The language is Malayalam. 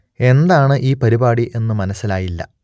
എന്താണ് ഈ പരിപാടി എന്നു മനസ്സിലായില്ല